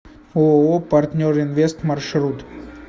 ооо партнер инвест маршрут